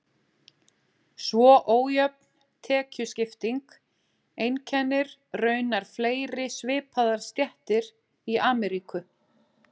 Svo ójöfn tekjuskipting einkennir raunar fleiri svipaðar stéttir í Ameríku.